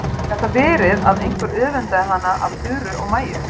Gat það verið að einhver öfundaði hann af Þuru og Maju?